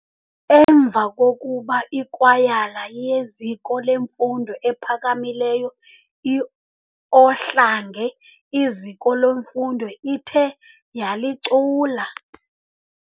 emva kokuba ikwayala yeziko lemfundo ephakamileyo i-Ohlange iziko leMfundo ithe yalicula.